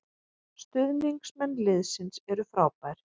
Stuðningsmenn liðsins eru frábær